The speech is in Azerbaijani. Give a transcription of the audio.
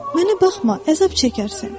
Mənə baxma, əzab çəkərsən.